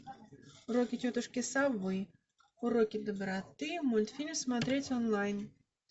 уроки тетушки совы уроки доброты мультфильм смотреть онлайн